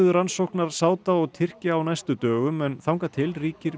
rannsóknar Sáda og Tyrkja á næstu dögum en þangað til ríkir